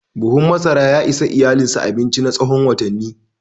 Buhun masara ya ishi iyalinsa abinci na tsawon watanni.